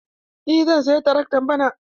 Eh, zan saya trakto bana.